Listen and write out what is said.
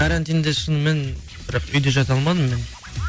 карантинде шынымен бірақ үйде жата алмадым мен